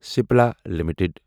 Cipla limited